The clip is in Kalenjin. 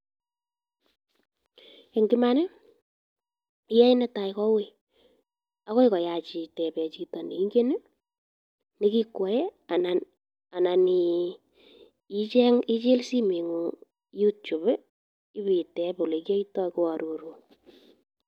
Eng' iman iyoee netai ko uii ak koi koyach iteben chito neingen nekikwoe anan icheng ichil simoing'ung icheng youtube ibeiteb olekiyoito keororun.